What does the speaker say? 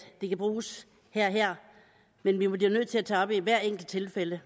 det kan bruges her og her men vi bliver nødt til at tage op i hvert enkelt tilfælde